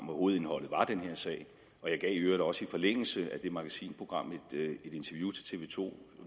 hvor hovedindholdet var den her sag og jeg gav i øvrigt også i forlængelse af det magasinprogram et interview til tv to